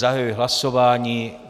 Zahajuji hlasování.